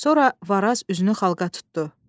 Sonra Varaz üzünü xalqa tutdu.